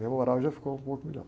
Meu moral já ficou um pouco melhor.